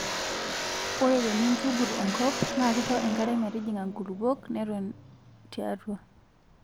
ore tinintugut enkop naa kisho enkare metijinga inkulupuok neton tiatua